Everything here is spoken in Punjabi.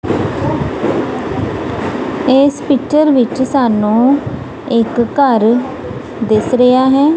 ਇਸ ਪਿੱਚਰ ਵਿੱਚ ਸਾਨੂੰ ਇੱਕ ਘਰ ਦਿਸ ਰਿਹਾ ਹੈ।